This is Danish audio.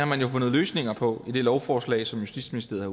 man har fundet løsninger på i det lovforslag som justitsministeriet